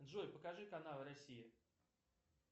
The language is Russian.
джой покажи канал россия